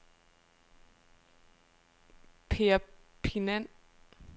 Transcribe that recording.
Perpignan